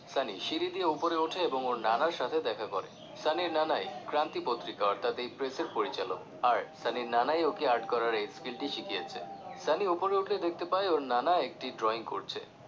সানি সিঁড়ি দিয়ে ওপরে ওঠে এবং ওর নানার সাথে দেখা করে, সানির নানাই এই ক্রান্তি পত্রিকা অর্থাৎ এই press এর পরিচালক, আর সানির নানাই ওকে art করার এই skill টি শিখিয়েছে সানি উপরে উঠে দেখতে পায় ওর নানা একটি drawing করছে।